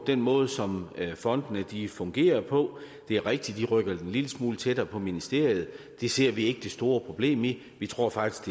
den måde som fondene fungerer på det er rigtigt at vi rykker dem en lille smule tættere på ministeriet det ser vi ikke det store problem i vi tror faktisk